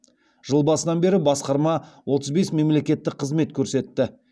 жыл басынан бері басқарма отыз бес мемлекеттік қызмет көрсетті